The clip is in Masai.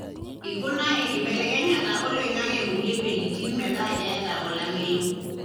ikuna enkibelekenyata oloingange kulie weujitin meeta keeta olameyu.